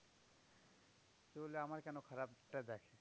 তুই বলবি আমার কেন খারাপটা দেয়?